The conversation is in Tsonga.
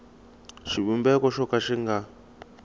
xivumbeko xo ka xi nga